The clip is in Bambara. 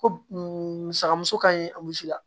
Ko musaka muso ka ɲi a musi la